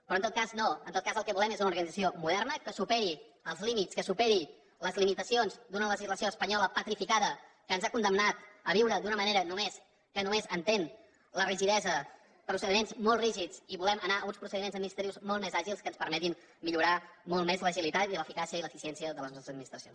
però en tot cas no en tot cas el que volem és una organització moderna que superi els límits que superi les limitacions d’una legislació espanyola petrificada que ens ha condemnat a viure d’una manera que només entén la rigidesa procediments molt rígids i volem anar a uns procediments administratius molt més àgils que ens permetin millorar molt més l’agilitat i l’eficàcia i l’eficiència de les nostres administracions